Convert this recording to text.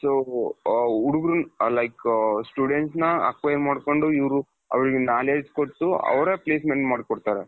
so ಹುಡುಗರು like student ನ acquaint ಮಾಡ್ಕೊಂಡು ಇವರು ಅವರಿಗೆ knowledge ಕೊಟ್ಟು ಅವರೇ placement ಮಾಡ್ಕೊಡ್ತಾರೆ.